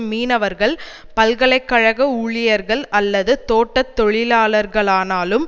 மீனவர்கள் பல்கலை கழக ஊழியர்கள் அல்லது தோட்ட தொழிலாளர்களானாலும்